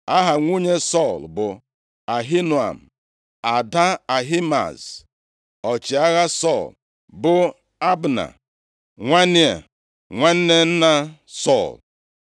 Aha nwunye Sọl bụ Ahinoam, ada Ahimaaz. Ọchịagha Sọl bụ Abna, nwa Nea, nwanne nna Sọl.